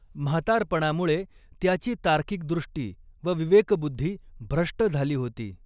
म्हातारपणामुळे त्याची तार्किक दृष्टी व विवेकबुद्धि भ्रष्ट झाली होती.